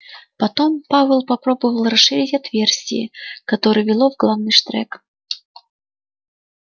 потом пауэлл попробовал расширить отверстие которое вело в главный штрек